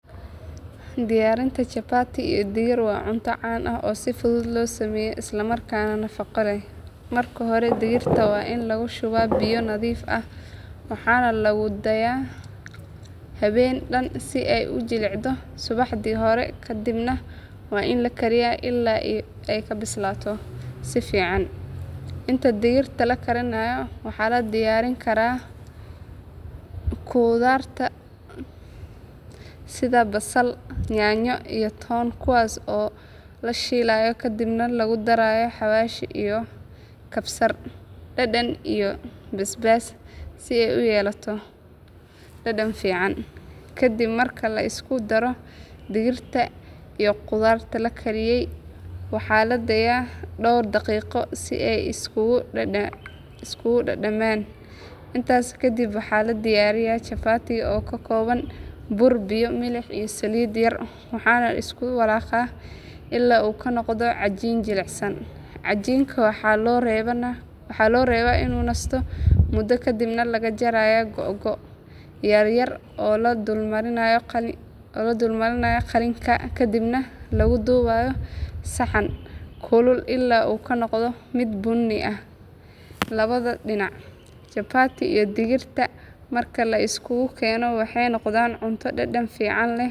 Diyaarinta chapati iyo digir waa cunto caan ah oo si fudud loo sameeyo isla markaana nafaqo leh. Marka hore digirta waa in lagu shubaa biyo nadiif ah waxaana lagu daaayaa habeen dhan si ay u jilciso subaxdii hore ka dibna waa in la kariyaa ilaa ay ka bislaato si fiican. Inta digirta la karinayo waxaa la diyaarin karaa khudaaraha sida basal, yaanyo, iyo toon kuwaas oo la shiilayo kadibna lagu darayo xawaashyo sida kabsar, dhanaan, iyo basbaas si uu u yeesho dhadhan fiican. Ka dib marka la isku daro digirta iyo khudaarta la kariyey waxaa la daaayaa dhowr daqiiqo si ay isugu dhadhamaan. Intaasi kadib waxaa la diyaarinayaa chapati oo ka kooban bur, biyo, milix iyo saliid yar waxaana la isku walaaqayaa ilaa uu ka noqdo cajiin jilicsan. Cajiinka waxaa loo reebaa inuu nasto muddo ka dibna laga jarayaa googo' yaryar oo la dulmarinayo qalinka kadibna lagu dubayaa saxan kulul ilaa uu ka noqdo mid bunni ah labada dhinac. Capati iyo digirta marka la isugu keeno waxay noqdaan cunto dhadhan fiican leh.